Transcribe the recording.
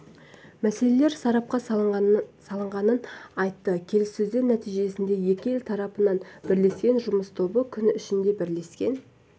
мәселелер сарапқа салынғанын айтты келіссөздер нәтижесінде екі ел тарапынан бірлескен жұмыс тобы күн ішінде бірлескен